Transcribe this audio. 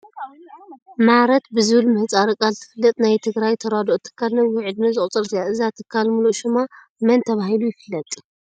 ማረት ብዝብል ምህፃረ ቃል ትፍለጥ ናይ ትግራይ ናይ ተራድኦ ትካል ነዊሕ ዕድመ ዘቑፀረት እያ፡፡ እዛ ትካል ሙሉእ ሽማ መን ተባሂሉ ይፍለጥ?